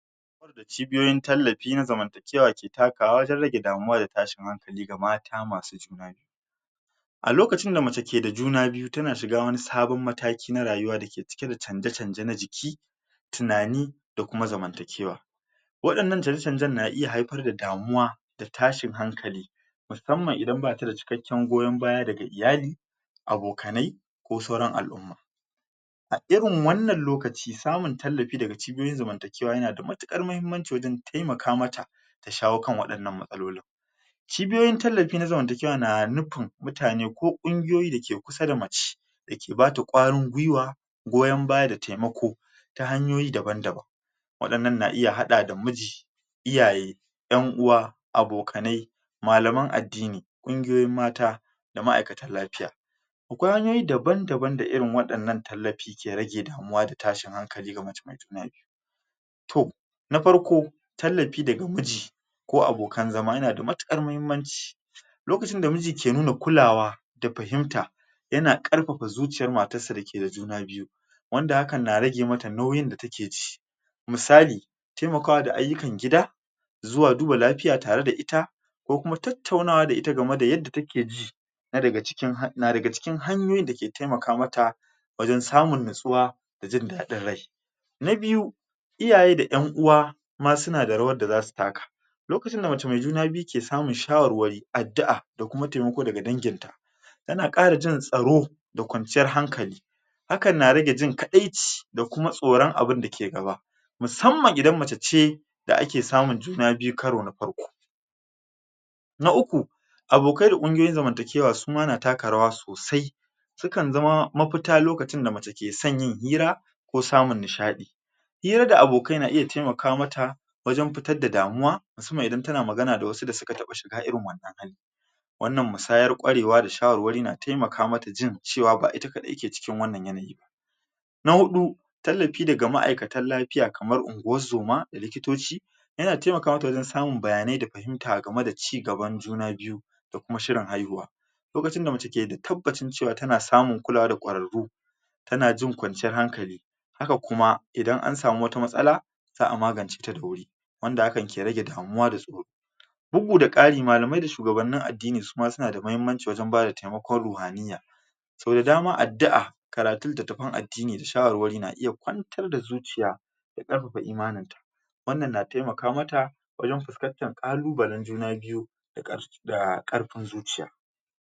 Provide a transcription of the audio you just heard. Cibiyoyin tallafi na ke takawa don rage damuwa da tashin hankali ga ,mata masu juna biyu A lokacin da mace ke da juna biyu tana shiga wani sabon mataki, na rayuwa dake cike da canje canje na jiki, tunani da kuma zamanta kewa. Waɗannan canje-canjen na iya haifar da damuwa da tashin hankali, musamman idan bata da cikakken goyon baya daga iyali, abokanai ko sauran al'umma. A irin wannan lokaci samun tallafi daga cibiyoyin zamantakewa yana da matuƙar mahimmanaci wajen taimaka mata shawo kan waɗannan matsaloli. Cibiyoyin tallafi na zamantakewa na nufin mutane ko ƙungiyoyi da ke ku sa da mace da ke bata ƙwarin gwiwa, goyon baya da taimako, ta hanyoyi daban-daban, waɗannan na iya haɗa da miji iyaye, 'yan uwa, abokanai, malaman addini, kungiyoyin mta, da ma'aikatan lafiya. Akwai hanyoyi daban--daban da irin waɗannan tallafi ke rage damuwa fda tashin hankali ga mace ,mai juna biyu. To, na farko, tallafi daga miji, ko abokan zama yana da matuƙar mahi, mmanci lokacin da miji ke nuna kulawa da fahimta, yana ƙarfafa zucoyar matarsa me juna biyu wanda hakan na rage mata nauyin da ta ke ji. Misali, taimakawa da ayukan gida, zuwa duba lafiya tare da ita, ko kuma tattaunawa da ita gama da yadda take ji na daga cikin hanyoyin dak etaimaka mata wajen samun natsuwa da jin daɗin rai. Na biyu, Iyaye da 'yanuwa ma suna da rawar da za su taka. Lokacin da mace mai juna biyu ke samun shawarwari adda'a da kuam taimako daga danginta, tana ƙara jin tsaro, da kwaznciyar hankali. JHakan na rage jin kaɗaici da kuma tsoron abinda ke gaba musamman idan mace ce da vake samun juna biyu karo na farko. Na uku: Abokai da ƙungiyoyin zamanta kewa na taka rawa sosai sukan zama mafita lokacin da mace ke son yin hira, ko samun nishaɗi. Hira da abokai na iya taimaka mata, wajen fitar da damuwa musamman idan tana magana da wasu da suka taɓa shiga irin wannan hali. Wannan musayar ƙwarewa da shawarwari na taimaka mata jin cewa ba ita kaɗai take cikin wannan yanayi ba. Na huɗu: Tallafi daga ma'aikatan lafiya kamar unguwan zoma da likitoci yana taimaka mata wajen samun bayanai na fahimta game da ci gban juna biyun da kuma shirin haihuwa. Lokacin da mace take da tabbacin cewa tana samun kulawa daga ƙwararru tana jin kwanciyar hankali, haka kuma idan an samu wata matsala za'a magance ta da wuri wanda hakan ke rage damuwa da tsoro. Bugu da ƙari, malamai da shugabannini addini suma da mahimmancin wajen bada taimakon ruhaniya, so da dama addi'a da karatun littatafan addini da shawarwari na iya kwantar da zuciya da ƙarfaf imaninta. Wannan na taimaka mata wajen wajen fuskantar ƙalubalen juna biyu da ƙarfin zuciya.